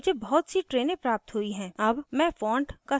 मुझे बहुत सी trains प्राप्त हुई हैं अब मैं font का साइज़ थोड़ा सा छोटा करती हूँ